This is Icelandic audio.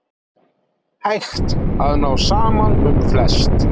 Hægt að ná saman um flest